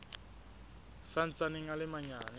sa ntsaneng a le manyane